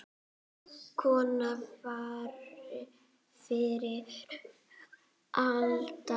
Kona fyrri alda.